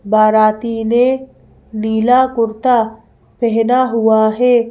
बाराती ने नीला कुर्ता पेहना हुआ है।